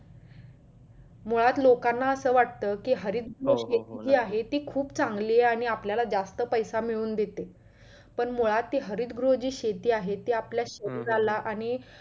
मुळात लोकांना असं वाटत कि हरित गोष्टी जी आहे ते खूप चांगली आहे आणि आपल्याला जास्त पैसा मिळवून देते पण मुळात जे हरित गृह ते शेती आहे ते आपल्या शरीराला आणि